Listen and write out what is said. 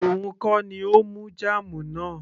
òun kọ́ ni ó mú jam náà